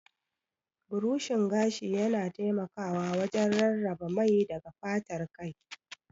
Burushin gashi yana taimakawa wajen rarraba mai daga fatar kai.